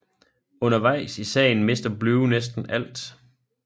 Undervejs i sagen mister Blue næsten alt